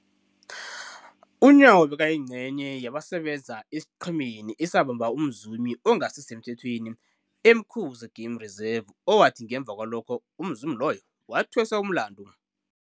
UNyawo bekayingcenye yabasebenza esiqhemeni esabamba umzumi ongasisemthethweni e-Umkhuze Game Reserve, owathi ngemva kwalokho umzumi loyo wathweswa umlandu.